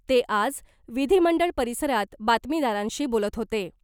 ते आज विधीमंडळ परिसरात बातमीदारांशी बोलत होते .